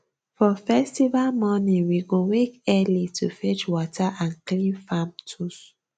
for festival morning we go wake early to fetch water and clean farm tools